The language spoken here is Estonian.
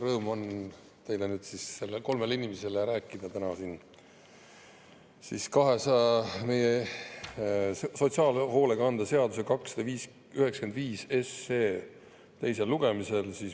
Rõõm on teile, nüüd kolmele inimesele, rääkida täna siin siis meie sotsiaalhoolekande seaduse muutmise eelnõust 295 teisel lugemisel.